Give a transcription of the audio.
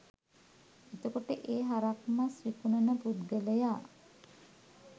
එතකොට ඒ හරක් මස් විකුණන පුද්ගලයා